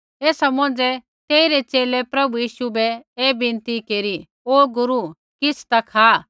ऐसा मौंझ़ै तेइरै च़ेले प्रभु यीशु बै ऐ विनती केरी ओ गुरू किछ़ ता खा